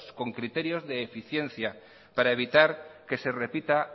con criterios de eficiencia para evitar que se repita